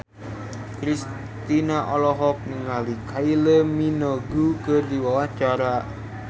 Kristina olohok ningali Kylie Minogue keur diwawancara